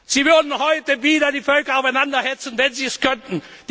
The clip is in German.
Sie würden heute wieder die Völker aufeinander hetzen, wenn sie es könnten!